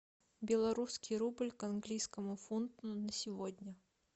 белорусский рубль к английскому фунту на сегодня